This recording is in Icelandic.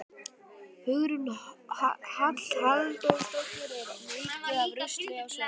Hugrún Halldórsdóttir: Er mikið af rusli á svæðinu?